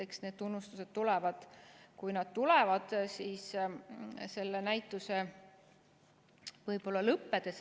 Eks need tunnustused tulevad, kui nad tulevad, võib-olla selle näituse lõppedes.